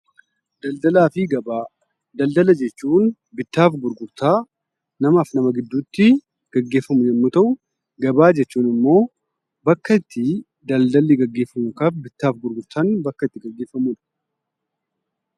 Daldalaa fi Gabaa Daldala jechuun bittaa fi gurgurtaa namaa fi nama gidduutti gaggeeffamu yemmuu ta'u, gabaa jechuun immoo bakka itti daldalli gaggeeffamu bittaa fi gurgurtaan